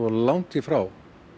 langt í frá